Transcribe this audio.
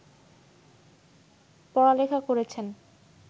পড়া-লেখা করেছেন